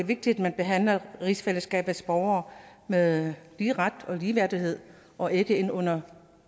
vigtigt at man behandler rigsfællesskabets borgere med lige ret og ligeværdighed og ikke ikke under